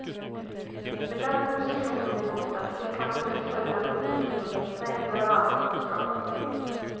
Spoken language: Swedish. Med den positionen i botten fick han under det följande årtiondet mängder av andra uppdrag. punkt